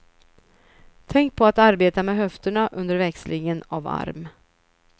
Tänk på att arbeta med höfterna under växlingen av arm.